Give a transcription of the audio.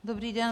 Dobrý den.